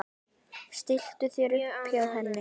Stilltu þér upp hjá henni.